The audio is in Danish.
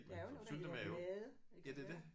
Der er jo noget der hedder made ja